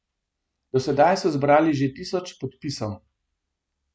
Do sedaj so zbrali že tisoč podpisov.